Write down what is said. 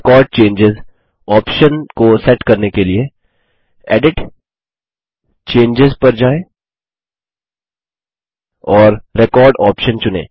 record चेंजों option को set करने के लिए एडिट → चेंजों पर जाएँ और रेकॉर्ड ऑप्शन चुनें